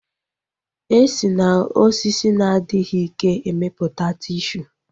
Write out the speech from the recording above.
E si na osisi na-adịghị ike emeputa tishu